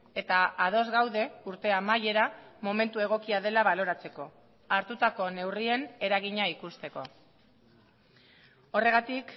eta ados gaude urte amaiera momentu egokia dela baloratzeko hartutako neurrien eragina ikusteko horregatik